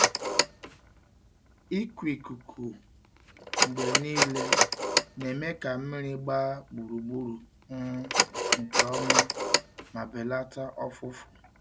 Ịkụ ikuku mgbe niile na-eme ka mmiri gbaa gburugburu um nke ọma ma belata ọfụfụ.